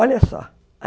Olha só.